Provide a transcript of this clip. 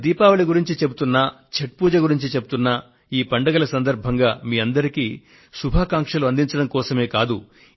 నేను దీపావళిని గురించి చెబుతున్నప్పటికీ లేక ఛఠ్ పూజను గురించి చెబుతున్నప్పటికీ ఈ పండుగల సందర్భంగా మీ అందరికీ శుభాకాంక్షలు అందించడం కోసమే కాదు